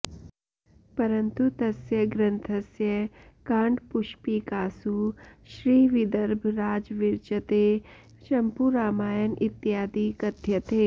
परन्तु तस्य ग्रन्थस्य काण्डपुष्पिकासु श्री विदर्भराजविरचिते चम्पूरामायण इत्यादि कथ्यते